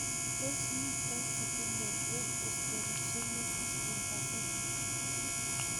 Tos mito chigilet eng' Osteogenesis imperfecta